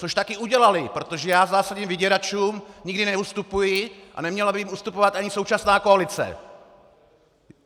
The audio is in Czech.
Což také udělali, protože já zásadně vyděračům nikdy neustupuji a neměla by jim ustupovat ani současná koalice!